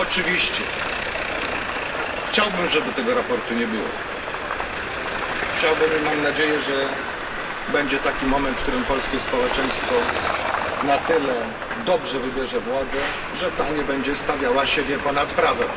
Oczywiście chciałbym, żeby tego sprawozdania nie było. Chciałbym i mam nadzieję, że nadejdzie taki moment, w którym polskie społeczeństwo na tyle dobrze wybierze władzę, że ta nie będzie stawiała siebie ponad prawem.